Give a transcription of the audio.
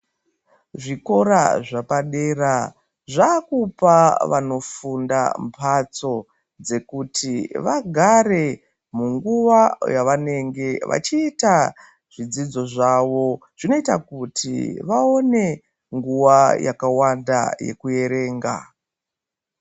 Zvikora zvapa dera zvakupa vano funda mbatso dzekuti vagare mu nguva yavanenge vachiita zvidzidzo zvawo zvinoita kuti vaone nguva yakawanda yekuerenga.